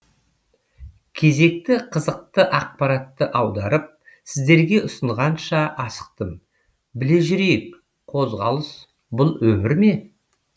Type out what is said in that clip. кезекті қызықты ақпаратты аударып сіздерге ұсынғанша асықтым біле жүрейік қозғалыс бұл өмір ме